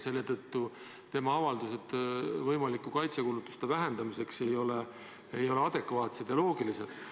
Selle tõttu ei ole ministri avaldused võimaliku kaitsekulutuste vähendamise kohta adekvaatsed ja loogilised.